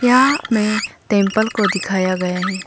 यहां में टेम्पल को दिखाया गया है।